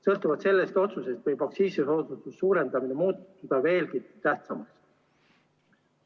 Sõltuvalt sellest otsusest võib aktsiisi ... suurendamine muutuda veelgi tähtsamaks.